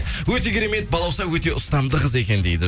өте керемет балауса өте ұстамды қыз екен дейді